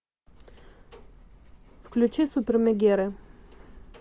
включи супермегеры